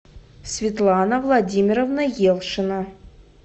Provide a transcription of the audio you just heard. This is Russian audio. светлана владимировна елшина